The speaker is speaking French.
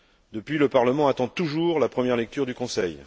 Depuis, le Parlement attend toujours la première lecture du Conseil.